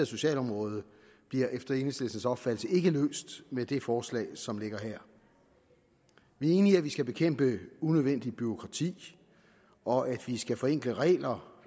socialområde bliver efter enhedslistens opfattelse ikke løst med det forslag som ligger her vi er enige i at vi skal bekæmpe unødvendigt bureaukrati og at vi skal forenkle regler